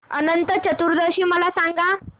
अनंत चतुर्दशी मला सांगा